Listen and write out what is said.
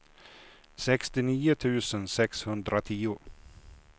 sextionio tusen sexhundratio